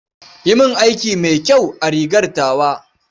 Yi min aiki mai kyau a rigar tawa.